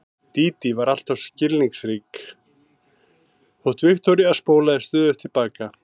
Dídí var alltaf svo skilningsrík þótt Viktoría spólaði stöðugt til baka.